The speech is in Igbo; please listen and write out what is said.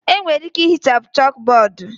Enwere ike ihichapụ chọkbọọdu.